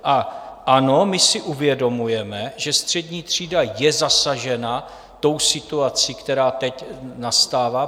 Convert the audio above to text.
A ano, my si uvědomujeme, že střední třída je zasažena tou situací, která teď nastává.